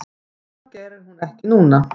Það geri hún ekki núna.